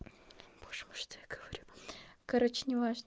боже мой что я говорю короче не важно